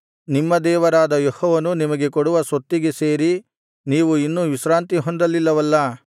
ನಿಮ್ಮ ದೇವರಾದ ಯೆಹೋವನು ನಿಮಗೆ ಕೊಡುವ ಸ್ವತ್ತಿಗೆ ಸೇರಿ ನೀವು ಇನ್ನೂ ವಿಶ್ರಾಂತಿ ಹೊಂದಲಿಲ್ಲವಲ್ಲಾ